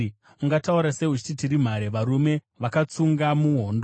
“Ungataura sei, uchiti, ‘Tiri mhare, varume vakatsunga muhondo’?